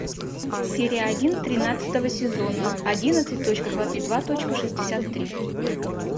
серия один тринадцатого сезона одиннадцать точка двадцать два точка шестьдесят три